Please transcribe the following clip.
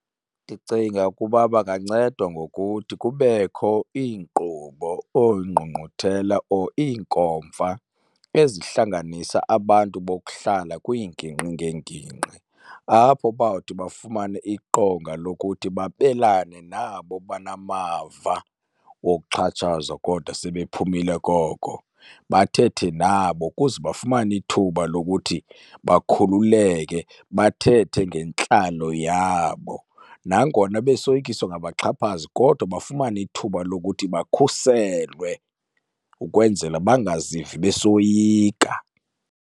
Ndicinga ukuba bangancedwa ngokuthi kubekho iinkqubo or iingqungquthela or iinkomfa ezihlanganisa abantu bokuhlala kwiingingqi ngeengingqi, apho bawuthi bafumane iqonga lokuthi babelane nabo banamava wokuxhatshazwa kodwa sebephumile koko. Bathethe nabo ukuze bafumane ithuba lokuthi bakhululeke bathethe ngentlalo yabo. Nangona besoyikiswa ngabaxhaphazi kodwa bafumane ithuba lokuthi bakhuselwe ukwenzela bangazivi besoyika.